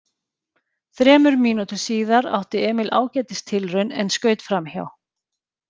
Þremur mínútum síðar átti Emil ágætis tilraun en skaut framhjá.